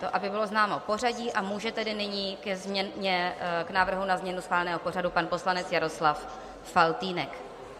To aby bylo známo pořadí, a může tedy nyní k návrhu na změnu schváleného pořadu pan poslanec Jaroslav Faltýnek.